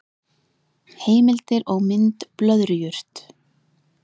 Heimildir og mynd Blöðrujurt.